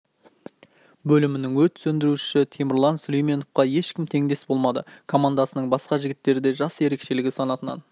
бөлімінің өрт сөндірушісі темірлан сүлейменовқа ешкім тендес болмады командасының басқа жігіттері де жас ерекшелігі санатынан